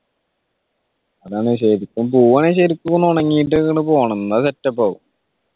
അതാണ് ശരിക്കും പോവ്വാണെങ്കിൽ ശെരിക്കും ഒന്ന് ഉണങ്ങീട്ടു അങ്ങോട്ട് പോണം എന്നാൽ set up ആവും